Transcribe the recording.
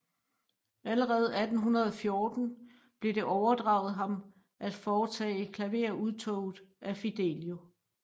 Allerede 1814 blev det overdraget ham at foretage klaverudtoget af Fidelio